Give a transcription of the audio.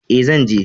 E, zan je.